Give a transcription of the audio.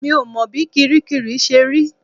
Mi ò mọ bí kiríkirì ṣe rí